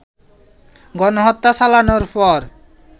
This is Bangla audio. গণহত্যা চালানোর পর